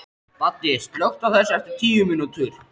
Baddi, slökktu á þessu eftir tíu mínútur.